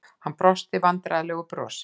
Hann brosti vandræðalegu brosi.